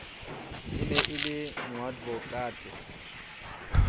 e ne e le moadvokate